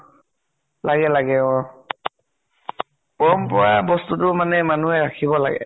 লাগে লাগে, অ। পৰম্পৰা বস্তুটো মানে মানুহে ৰাখিব লাগে।